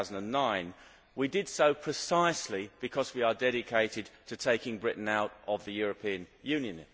2009. We did so precisely because we are dedicated to taking Britain out of the European Union.